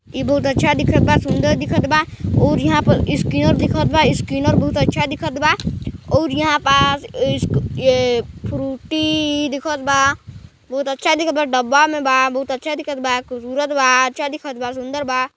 ई बहुत अच्छा दिखत बा सूंदर दिखत बा और यहाँ पर स्कैनर दिखत बा स्कैनर बहोत अच्छा दिखत बा और यहाँ पास ये फ्रूटी दिखत बा बहोत अच्छा दिखत बा डब्बा में बा बहोत अच्छा दिखत बा खूबसूरत बा अच्छा दिखत बा सुन्दर बा--